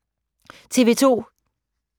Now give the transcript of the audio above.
TV 2